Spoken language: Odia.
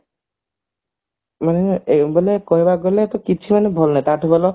ମାନେ କହିବାକୁ ଗଲେ କିଛି ମାନେ ଭଲ ନାହିଁ ତ ତାଠୁ ଭଲ